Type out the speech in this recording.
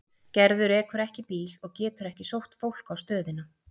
Gerður ekur ekki bíl og getur ekki sótt fólk á stöðina.